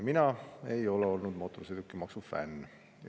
Mina ei ole olnud mootorsõidukimaksu fänn.